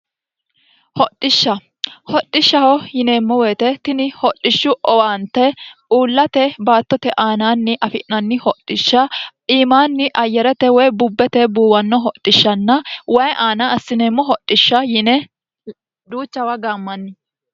hodhishsha hodhishshaho yineemmo woyite tini hodhishshu owaante uullate baattote aanaanni afi'nanni hodhishsha iimaanni ayyarete woy bubbete buuwanno hodhishshanna wayi aana assineemmo hoxishsha yine duuchaawa gaammanni